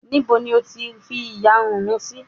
Níbo ni O fi ìyarun mi sí?